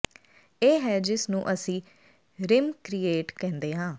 ਇਹ ਹੈ ਜਿਸ ਨੂੰ ਅਸੀ ਰਿਮ ਕ੍ਰੀਏਟ ਕਹਿੰਦੇ ਹਾਂ